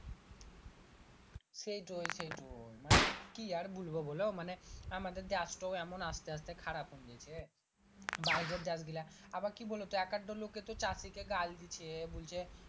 সেইটোই সেইটোই মানে কি আর বলবো বোলো মানে আমাদের দেশ তো এমন আসতে আসতে খারাপ হুং যেচে বাহিরের দেশ গুলা আবার কি বোলো তো এককা ড লোকে তো চাষী কে গাল দিচ্ছে বলছে